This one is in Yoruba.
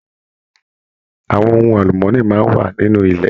Àwọn ohùn alumọni máa n wà nínú ilẹ̀.